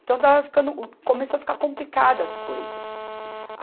Então, estava ficando, começou a ficar complicada as coisas.